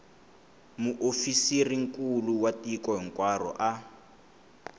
muofisirinkulu wa tiko hinkwaro a